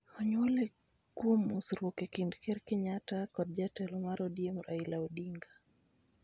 Onyuole kuom mosruok e kind Ker Kenyatta kod jatelo mar ODM, Raila Odinga,